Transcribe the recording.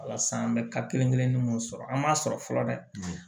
Wala san an bɛ ka kelen kelennin munnu sɔrɔ an m'a sɔrɔ fɔlɔ dɛ